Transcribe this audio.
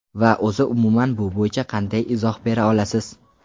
Va o‘zi umuman bu bo‘yicha qanday izoh bera olasiz?